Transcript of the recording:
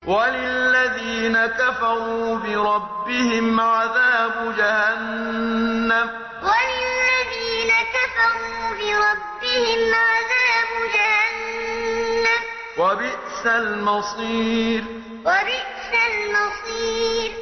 وَلِلَّذِينَ كَفَرُوا بِرَبِّهِمْ عَذَابُ جَهَنَّمَ ۖ وَبِئْسَ الْمَصِيرُ وَلِلَّذِينَ كَفَرُوا بِرَبِّهِمْ عَذَابُ جَهَنَّمَ ۖ وَبِئْسَ الْمَصِيرُ